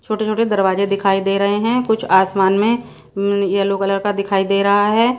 छोटे छोटे दरवाजे दिखाई दे रहे हैं कुछ आसमान में येलो कलर का दिखाई दे रहा है।